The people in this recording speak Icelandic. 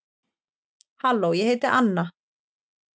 halló ég heiti anna